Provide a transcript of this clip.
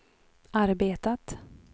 arbetat